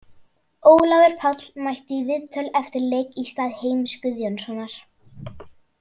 Ólafur Páll mætti í viðtöl eftir leik í stað Heimis Guðjónssonar.